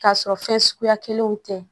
K'a sɔrɔ fɛn suguya kelenw tɛ